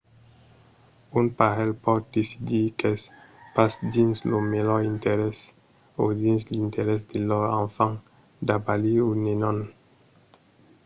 un parelh pòt decidir qu’es pas dins lor melhor interès o dins l’interès de lor enfant d'abalir un nenon